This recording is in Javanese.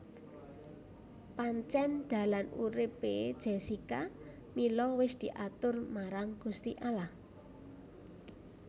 Pancen dalan urip e Jessica Mila wis diatur marang Gusti Allah